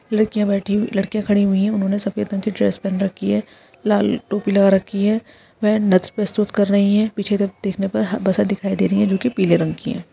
लड़कियां बैठी हुई लड़कियां खड़ी हुई हैं उन्होंने सफेद रंग कि ड्रेस पहन रखी है लाल टोपी लगा रखी है वह नृत्य प्रस्तुत कर रही हैं पीछे देख देखने पर ह बसें दिखाई दे रही हैं जो कि पीले रंग कि हैं।